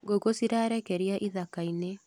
Ngũkũ cirarekeria ithakainĩ.